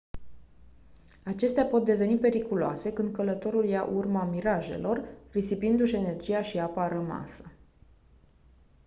acestea pot deveni periculoase când călătorul ia urma mirajelor risipindu-și energia și apa rămasă